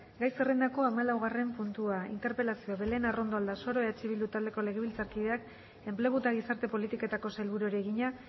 gai zerrendako hamalaugarren puntua interpelazioa belén arrondo aldasoro eh bildu taldeko legebiltzarkideak enplegu eta gizarte politiketako sailburuari egina